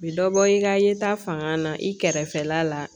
U bi dɔ bɔ i ka yeta fanga na i kɛrɛfɛla la